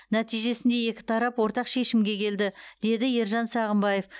нәтижесінде екі тарап ортақ шешімге келді деді ержан сағынбаев